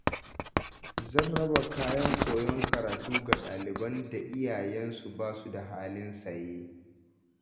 Zan raba kayan koyon karatu ga ɗaliban da iyayensu ba su da halin saye.